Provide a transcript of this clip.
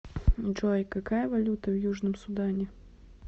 джой какая валюта в южном судане